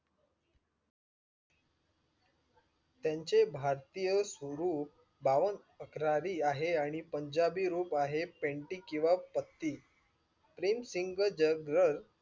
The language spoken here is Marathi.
त्यांचे भारतीय स्वरूप बावन अख्र्रारी आहे पंजाबी रूप आहे पेंटी किवा पट्टी king सिंग जग ह